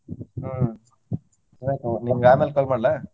ಹ್ಮ್ ಅಯ್ತು ನಿಮ್ಗ ಅಮ್ಯಾಲ call ಮಾಡ್ಲಾ?